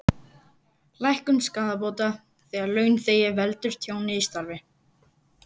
Lækkun skaðabóta þegar launþegi veldur tjóni í starfi.